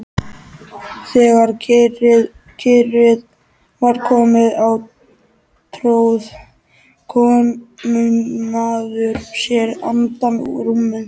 Þegar kyrrð var komin á tróð komumaður sér undan rúminu.